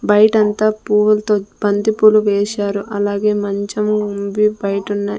బైటంతా పువ్వులతో బంతి పూలు వేశారు అలాగే మంచం ఉంది బైటున్నై.